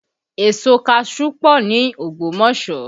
Èso kaṣuú pọ ní Ogbomoso